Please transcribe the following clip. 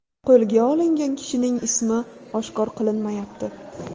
Qo‘lga olingan kishining ismi oshkor qilinmayapti.